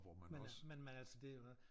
Men men men altså det jo også